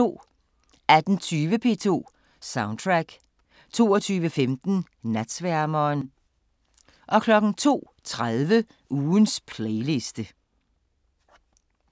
18:20: P2 Soundtrack 22:15: Natsværmeren 02:30: Ugens playliste